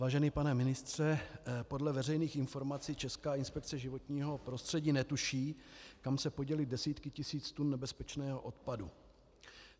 Vážený pane ministře, podle veřejných informací Česká inspekce životního prostředí netuší, kam se poděly desítky tisíc tun nebezpečného odpadu.